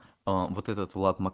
аа вот этот влад ма